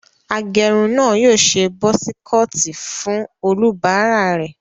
Agẹrun náà yóò ṣe busi kọọtì fún olúbàarà rẹ̀.